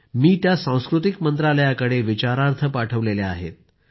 मी त्या सांस्कृतिक मंत्रालयाकडे विचारार्थ पाठवल्या आहेत